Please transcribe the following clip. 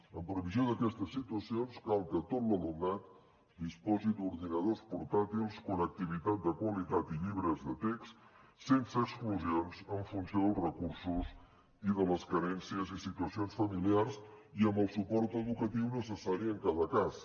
en previsió d’aquestes situacions cal que tot l’alumnat disposi d’ordinadors portàtils connectivitat de qualitat i llibres de text sense exclusions en funció dels recursos i de les carències i situacions familiars i amb el suport educatiu necessari en cada cas